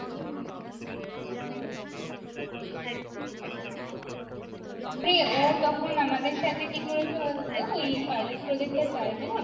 আরে ও তখন আমাদের সাথে কি করেছে বলতো ওই Pilot project টার time এ না